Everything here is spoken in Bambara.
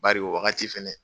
Bari o wagati fɛnɛ